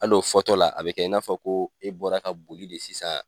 Hal'o fɔ tɔ la a be kɛ i n'a fɔ ko e bɔra ka boli de sisan